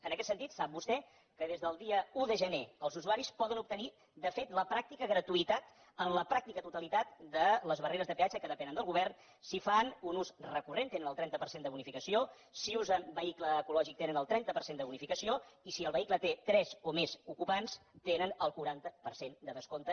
en aquest sentit sap vostè que des del dia un de gener els usuaris poden obtenir de fet la pràctica gratuïtat en la pràctica totalitat de les barreres de peatge que depenen del govern si en fan un ús recurrent tenen el trenta per cent de bonificació si usen vehicle ecològic tenen el trenta per cent de bonificació i si el vehicle té tres o més ocupants tenen el quaranta per cent de descompte